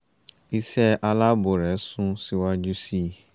iṣẹ́ aláàbò rẹ sún síwájú sí i